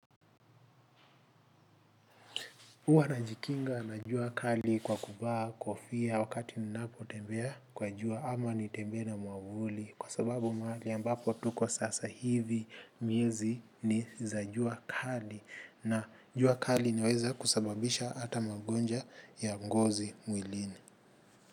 Huwa najikinga na jua kali kwa kuvaa, kofia, wakati ninapotembea kwa jua ama nitembee na mwavuli. Kwa sababu mahali ambapo tuko sasa hivi miezi ni za jua kali na jua kali niweze kusababisha hata magonjwa ya ngozi mwilini.